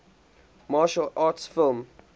martial arts film